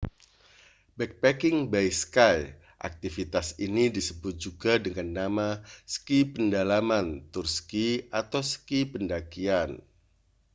backpacking by ski aktivitas ini disebut juga dengan nama ski pedalaman tur ski atau ski pendakian